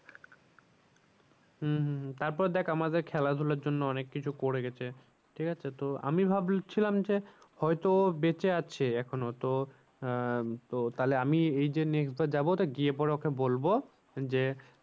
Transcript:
হম হম হম তারপর দেখ আমাদের খেলা ধুলার জন্য অনেক কিছু করে গেছে ঠিক আছে তো আমি ভাবছিলাম যে হয় তো ও বেঁচে আছে এখনো তো আহ তাহলে আমি এই যে next বার যাবো তো গিয়ে পরে ওকে বলবো যে